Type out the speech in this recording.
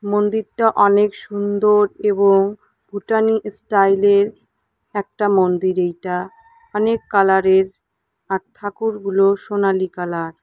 মন্দিরটা অনেক সুন্দর এবং ভুটানি ইস্টাইলের একটা মন্দির এইটা অনেক কালার -এর আর থাকুরগুলো সোনালী কালার ।